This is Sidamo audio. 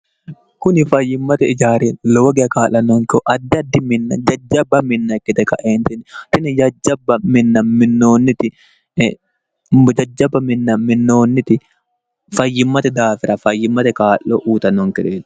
kuni fayyimmate ijaari lowogea kaa'lannonkoho addiaddi minna jajjabba minna ikkite kaentinniotini jajjabba minna minoonniti mujajjabba minna minnoonniti fayyimmate daafira fayyimmate kaa'lo uutannonkereeo